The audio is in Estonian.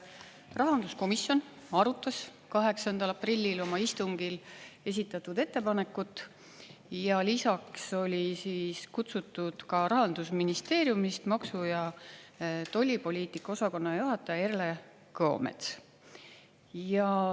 Rahanduskomisjon arutas 8. aprillil oma istungil esitatud ettepanekut ja lisaks oli kutsutud Rahandusministeeriumist maksu- ja tollipoliitika osakonna juhataja Erle Kõomets.